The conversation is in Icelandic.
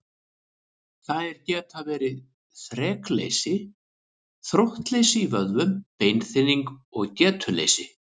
Þær geta verið þrekleysi, þróttleysi í vöðvum, beinþynning og getuleysi.